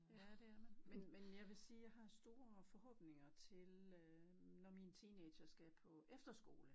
Ja det er det men men jeg vil sige jeg har store forhåbninger til øh når mine teenagere skal på efterskole